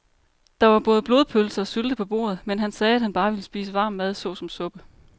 Der var både blodpølse og sylte på bordet, men han sagde, at han bare ville spise varm mad såsom suppe.